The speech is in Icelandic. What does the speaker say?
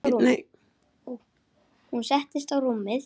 Hún settist á rúmið.